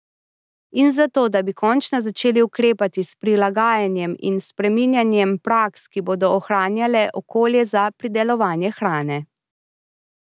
In zato, da bi končno začeli ukrepati s prilagajanjem in spreminjanjem praks, ki bodo ohranjale okolje za pridelovanje hrane.